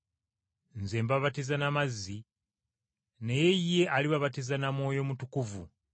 Nze mbabatiza na mazzi, naye ye alibabatiza na Mwoyo Mutukuvu.”